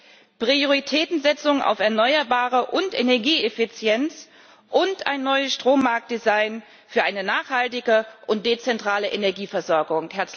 2030. Prioritätensetzung auf Erneuerbare und Energieeffizienz und ein neues Strommarktdesign für eine nachhaltige und dezentrale Energieversorgung.